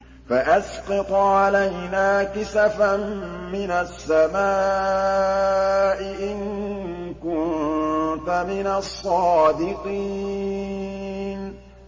فَأَسْقِطْ عَلَيْنَا كِسَفًا مِّنَ السَّمَاءِ إِن كُنتَ مِنَ الصَّادِقِينَ